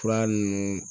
Fura ninnu